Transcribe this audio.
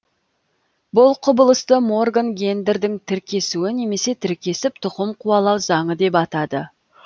бұл құбылысты морган гендердің тіркесуі немесе тіркесіп тұқым қуалау заңы деп атады